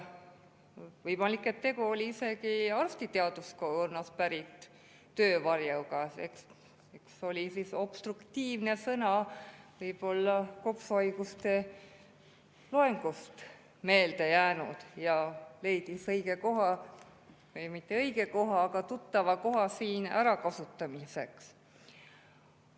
Võimalik, et tegu oli isegi arstiteaduskonnast pärit töövarjuga – sõna "obstruktiivne" oli võib-olla kopsuhaiguste loengust meelde jäänud ja leidis õige koha – või mitte õige koha, vaid tuttava koha – siin ärakasutamiseks.